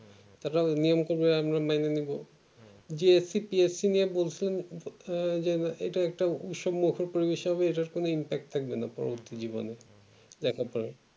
তারা যাই করবে আমরা সেটাই মেনে নিবো যে BSC নিয়ে বলছিলেন আহ যে এটা একটা পরিবেশ হবে এটার কোনো impact থাকবে না পরবর্তী জীবনে একেবারে